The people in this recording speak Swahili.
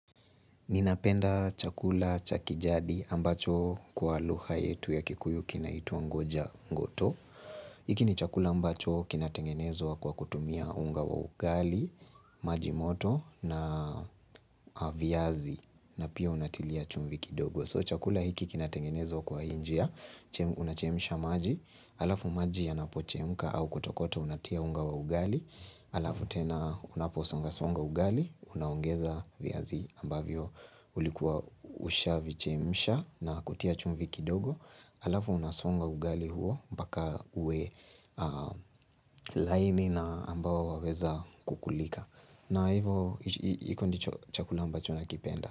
Ninapenda chakula cha kijadi ambacho kwa lugha yetu ya Kikuyu kinaitwa ngoja ngoto. Hiki ni chakula ambacho kinatengenezwa kwa kutumia unga wa ugali, majimoto na viazi na pia unatilia chumvi kidogo. So chakula hiki kinatengenezwa kwa hii njia, unachemsha maji, halafu maji yanapochemka au kutokota unatia unga wa ugali, halafu tena unaposonga songa ugali unaongeza viazi ambavyo ulikuwa ushavichemsha na kutia chumvi kidogo. Halafu unasonga ugali huo mpaka uwe laini na ambao waweza kukulika. Na hivo hiko ndicho chakula ambacho nakipenda.